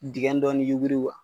Digɛn dɔɔni yuguri